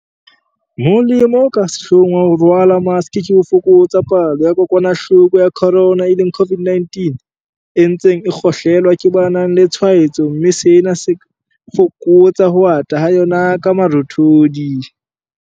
Molemo o ka sehlohong wa ho rwala maske ke ho fokotsa palo ya kokwana-hloko ya corona, e leng COVID-19, e ntseng e kgohle-lwa ke ba nang le tshwae-tso mme sena se fokotsa ho ata ha yona ka marothodi.